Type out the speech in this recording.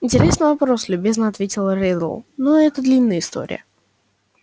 интересный вопрос любезно ответил реддл но это длинная история